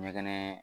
Ɲɛgɛn